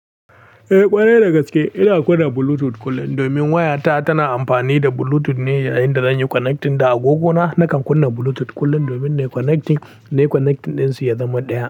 Eh ƙwarai dagaske, ina kunna Bluetooth kullum domin waya ta tana amfani da Bluetooth ne yayin da zanyi connecting da agogona, nakan kunna Bluetooth kullum domin nayi connecting nayi connecting din su ya zama ɗaya.